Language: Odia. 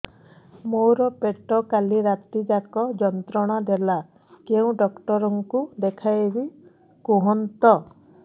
ମୋର ପେଟ କାଲି ରାତି ଯାକ ଯନ୍ତ୍ରଣା ଦେଲା କେଉଁ ଡକ୍ଟର ଙ୍କୁ ଦେଖାଇବି କୁହନ୍ତ